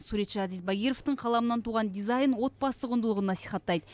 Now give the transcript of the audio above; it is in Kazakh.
суретші азиз багировтың қаламынан туған дизайн отбасы құндылығын насихаттайды